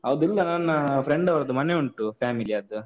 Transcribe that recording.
ಅದೊಂದು, ನನ್ನ friend ಅವರದ್ದು ಮನೆಯುಂಟು, family ಅದ್ದು.